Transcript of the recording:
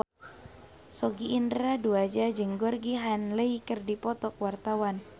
Sogi Indra Duaja jeung Georgie Henley keur dipoto ku wartawan